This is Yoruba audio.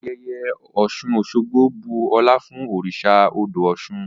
Ayẹyẹ Oṣun-Oṣogbo bu ọlá fun oriṣa odo Oṣun.